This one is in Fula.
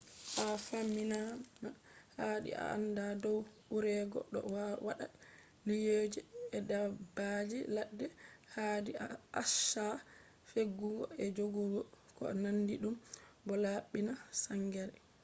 ha famtinama haadi a aanda dow urego do wadda liiyuuje e daabbaji laadde ,haadi a accha defugo e jogudo ko naandi dum bo laabbina saangere